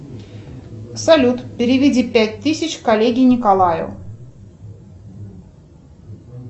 салют переведи пять тысяч коллеге николаю